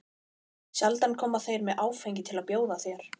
Sjaldan koma þeir með áfengi til að bjóða þér.